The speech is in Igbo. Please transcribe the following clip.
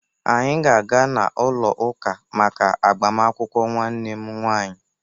Anyị ga-aga n'ụlọụka maka agbamaakwụkwọ nwanne m nwaanyị